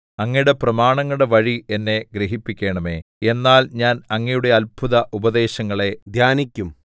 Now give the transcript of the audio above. അങ്ങയുടെ പ്രമാണങ്ങളുടെ വഴി എന്നെ ഗ്രഹിപ്പിക്കണമേ എന്നാൽ ഞാൻ അങ്ങയുടെ അത്ഭുത ഉപദേശങ്ങളെ ധ്യാനിക്കും